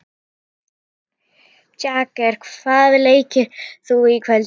Jagger, hvaða leikir eru í kvöld?